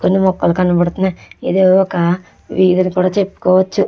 కొన్ని మొక్కలు కనబడుతున్నాయి ఇది ఒక వీధని కూడా చెప్పుకోవచ్చు.